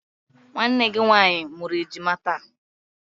Nwanne gị nwaanyị mụrụ ejima taa.